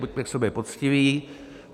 - Buďme k sobě poctiví.